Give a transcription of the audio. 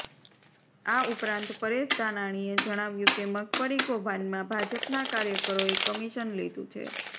આ ઉપરાંત પરેશ ધાનાણીએ જણાવ્યું કે મગફળી કૌભાંડમાં ભાજપના કાર્યકરોએ કમીશન લીધુ છે